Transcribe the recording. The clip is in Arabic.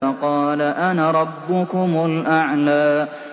فَقَالَ أَنَا رَبُّكُمُ الْأَعْلَىٰ